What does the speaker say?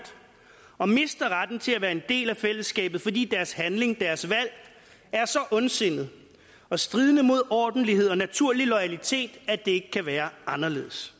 og som mister retten til at være en del af fællesskabet fordi deres handling og deres valg er så ondsindet og stridende mod ordentlighed og naturlig loyalitet at det ikke kan være anderledes